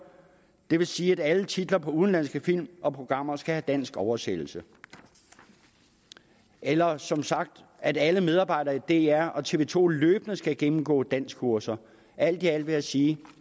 det vil sige at alle titler på udenlandske film og programmer også skal have dansk oversættelse eller som sagt at alle medarbejdere i dr og tv to løbende skal gennemgå danskkurser alt i alt vil jeg sige